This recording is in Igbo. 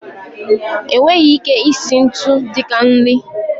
E nweghị ike isi ntu dịka nri.